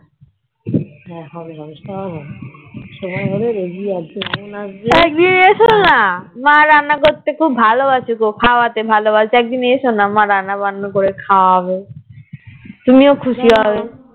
একদিন এসোনা মা রান্না করতে খুব ভালো বাসে গো খাওয়াতে ভালো বাসে একদিন এস না মা রান্না বান্না করে খাওয়াবে তুমিও খুশি হবে